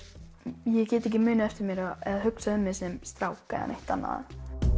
ég get ekki munað eftir mér eða hugsað um mig sem strák eða neitt annað